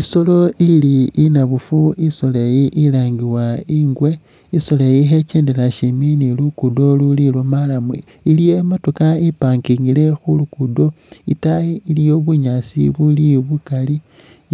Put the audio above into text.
Isoolo ili inabufu, Isoolo iyi ilangibwa ingwe ,isoolo iyi khekendela shimbi ni lukudo luli lwo marrum, iliyo imotookha i'parkingile khulugudo, itaayi iliyo bunyaasi buli bukali